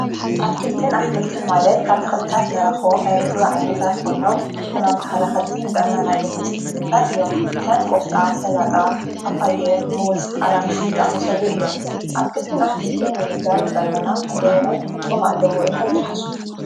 ኣትክልትን ኣሕምልትን ማለት ካብ ተኽልታት ንረኾም ናይ ምግብ ዓይነታት ኾይኖም ሕማም ተኸላኸልቲ ንጥዕናና ኣገደስቲ ምግብታት እዮም ከም ቆስጣ ሰላጣ ጳጳየ ሙዝ ኣራንሺ ዝኣመሰሉ እዮም ኣትክልትን ኣሕምልትን ምምጋብ ንጥዕናና ኽንደየናይ ጥቅሚ ኣለዎ ኢልኹም ተሓስቡ?